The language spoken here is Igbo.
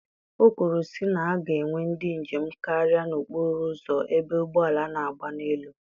O kwuru sị na a ga-enwe ndị njem karịa n'okpuru ụzọ ebe ụgbọala na-agba n'elu.